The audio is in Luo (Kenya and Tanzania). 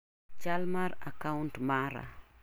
Chal mar a kaunt mara.